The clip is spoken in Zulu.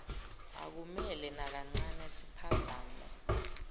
akumele nakancane siphazame